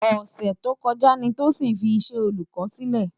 Òsè tókòjá ni Tosin fi iṣè Ólùkòni silè